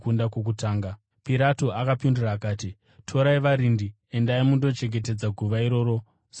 Pirato akapindura akati, “Torai, varindi. Endai, mundochengetedza guva iroro semaziviro enyu.”